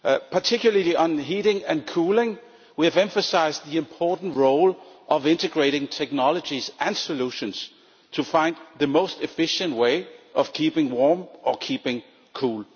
Particularly on heating and cooling, we have emphasised the important role of integrating technologies and solutions to find the most efficient way of keeping warm or keeping cool.